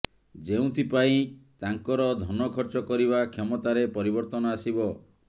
ଯେଉଁଥିପାଇଁ ତାଙ୍କର ଧନ ଖର୍ଚ୍ଚ କରିବା କ୍ଷମତାରେ ପରିବର୍ତ୍ତନ ଆସିବ